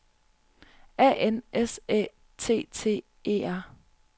A N S Æ T T E R